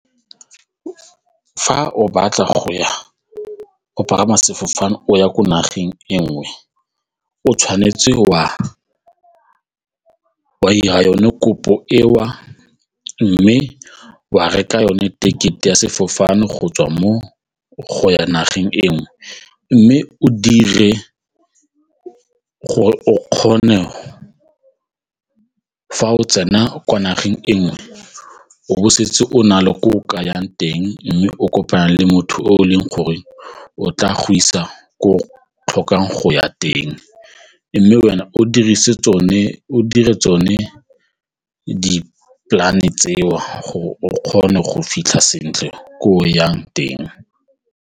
Fa o batla go ya o pagama sefofane o ya ko nageng e nngwe o tshwanetse wa ira yone kopo eo mme wa reka yone ticket-e ya sefofane gotswa mo go ya nageng e nngwe mme o dire gore o kgone fa o tsena kwa nageng e nngwe o bo o setse o na le ko ke yang teng mme o kopana le motho o leng gore o tla go isa ko o tlhokang go ya teng mme wena o dire tsone di-plan-e tseo gore o kgone go fitlha sentle ko o yang teng.